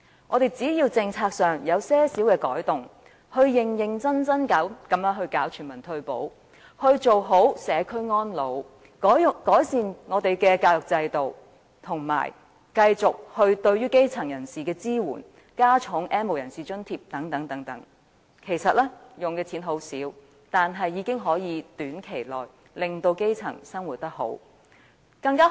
政府只要在政策上作出一些改動，認真落實全民退保、做好社區安老、改善教育制度、繼續對於基層人士提供支援，以及增加對 "N 無人士"的津貼等，其實所花的金錢不多，但已經可以在短期內改善基層市民的生活。